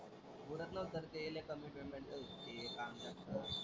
पुरत नव्हतं रे ते लय कमी पेमेंट होत ते काम जास्त.